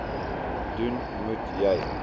doen moet jy